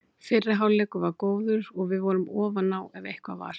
Fyrri hálfleikur var góður og við vorum ofan á ef eitthvað var.